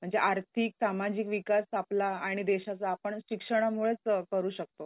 म्हणजे आर्थिक, सामाजिक विकास आपला आणि देशाचा आपण शिक्षणामुळेच करू शकतो.